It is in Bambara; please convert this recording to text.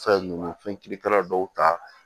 Fɛn nunnu fɛn kirikala dɔw ta